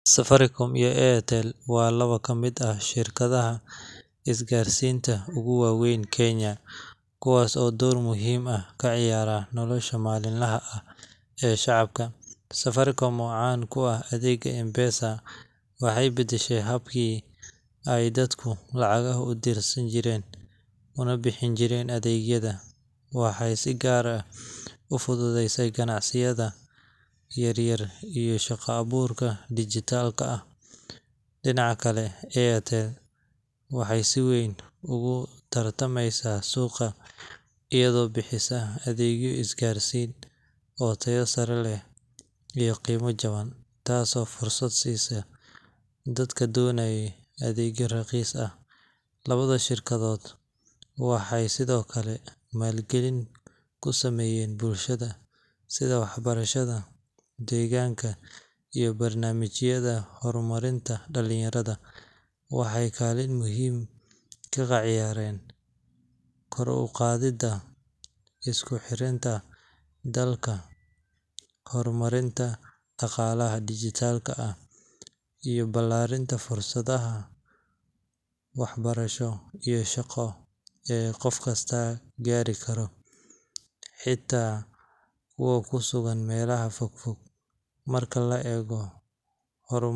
Safaricom iyo Airtel waa laba ka mid ah shirkadaha isgaarsiinta ugu waaweyn Kenya, kuwaas oo door muhiim ah ka ciyaara nolosha maalinlaha ah ee shacabka. Safaricom, oo caan ku ah adeegga M-PESA, waxay beddeshay habkii ay dadku lacagaha u dirsan jireen, una bixin jireen adeegyada waxay si gaar ah u fududeysay ganacsiyada yaryar iyo shaqo-abuurka dijitaalka ah. Dhinaca kale, Airtel waxay si weyn ugu tartamaysaa suuqa iyadoo bixisa adeegyo isgaarsiin oo tayo sare leh iyo qiimo jaban, taasoo fursad siisa dadka doonaya adeegyo raqiis ah. Labada shirkadood waxay sidoo kale maalgelin ku sameeyaan bulshada, sida waxbarashada, deegaanka, iyo barnaamijyada horumarinta dhallinyarada. Waxay kaalin muhiim ka ciyaareen kor u qaadidda isku xirinta dalka, horumarinta dhaqaalaha dijitaalka ah, iyo ballaarinta fursadaha waxbarasho iyo shaqo ee qof kasta gaari karo, xitaa kuwa ku sugan meelaha fog fog. Marka la eego.